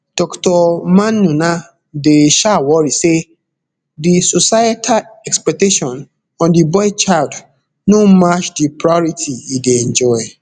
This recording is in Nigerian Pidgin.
dr maymunah dey um worry say di societal expectation on di boy child no match di priority e dey enjoy